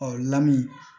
Ɔ lamu